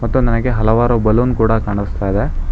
ಮತ್ತು ನನಗೆ ಹಲವಾರು ಬಲ್ಲೂನ್ ಕೂಡ ಕಾಣಸ್ತ ಇದೆ.